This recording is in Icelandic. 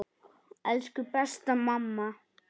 Elsku besta mamma.